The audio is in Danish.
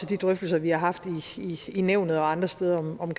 de drøftelser vi har haft i nævnet og andre steder om